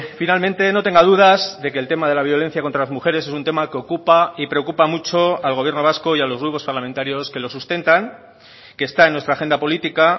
finalmente no tenga dudas de que el tema de la violencia contra las mujeres es un tema que ocupa y preocupa mucho al gobierno vasco y a los grupos parlamentarios que lo sustentan que está en nuestra agenda política